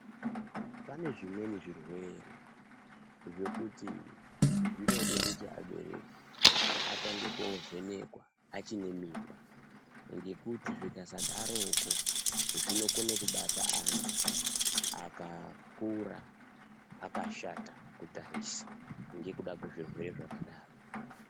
Panezvimweni zvirwere zvekuti vabereki vatange kovhenekwa achinemimba ngekuti zvikasadarokwo akakura akashata kutarisa ngekuda kwezvirwere zvakadaro